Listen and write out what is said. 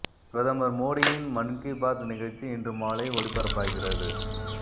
பிரதமர் மோடியின் மன் கி பாத் நிகழ்ச்சி இன்று மாலை ஒலிபரப்பாகிறது